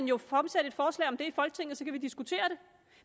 jo fremsætte et forslag om det i folketinget og så kan vi diskutere det